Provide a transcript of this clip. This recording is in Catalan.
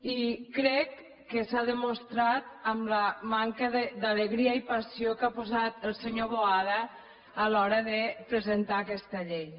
i crec que s’ha demostrat amb la manca d’alegria i passió que ha posat el senyor boada a l’hora de presentar aquesta llei